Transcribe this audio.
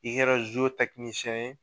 I kɛra ye